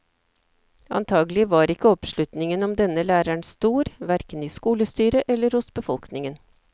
Antagelig var ikke oppslutningen om denne læreren stor, verken i skolestyret eller hos befolkningen.